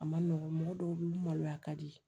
A ma nɔgɔ mɔgɔ dɔw bɛ yen maloya ka di